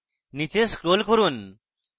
নীচে scroll করুন